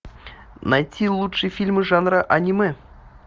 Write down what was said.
найти лучшие фильмы жанра аниме